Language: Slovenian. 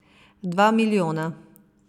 Dva milijona.